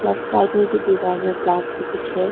एक साइड में भी दीवार में ब्लैक से कुछ है।